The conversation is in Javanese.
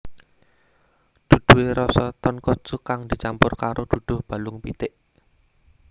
Duduhe rasa tonkotsu kang dicampur karo duduh balung pitik